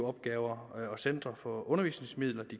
opgaver og centre for undervisningsmidler